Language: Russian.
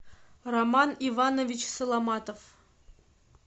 роман иванович соломатов